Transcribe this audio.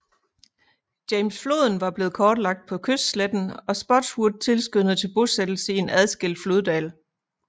James Floden var blevet kortlagt på kystsletten og Spotswood tilskyndede til bosættelse i en adskilt floddal